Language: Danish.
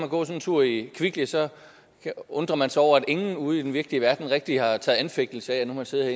gå en tur i kvickly og så undrer man sig over at ingen ude i den virkelige verden rigtig har taget anfægtelse af at man har siddet